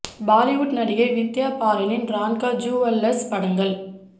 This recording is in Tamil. பாலிவுட் நடிகை வித்யா பாலனின் ரான்கா ஜூவல்லர்ஸ் படங்கள்